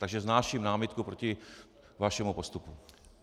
Takže vznáším námitku proti vašemu postupu.